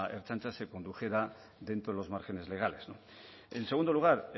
ertzaintza se condujera dentro de los márgenes legales no en segundo lugar